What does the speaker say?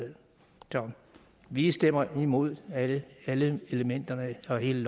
vi stemmer imod alle alle elementerne og hele